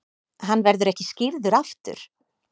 Hann verður ekki skírður aftur.